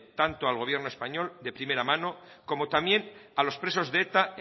tanto al gobierno español de primera mano como también a los presos de eta